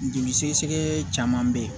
Joli sɛgɛsɛgɛ caman be ye